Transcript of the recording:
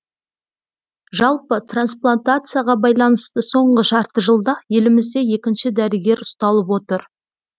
жалпы трансплантацияға байланысты соңғы жарты жылда елімізде екінші дәрігер ұсталып отыр